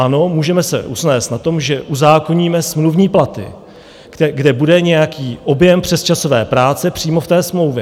Ano, můžeme se usnést na tom, že uzákoníme smluvní platy, kde bude nějaký objem přesčasové práce přímo v té smlouvě.